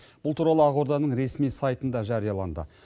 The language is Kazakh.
бұл туралы ақорданың ресми сайтында жарияланды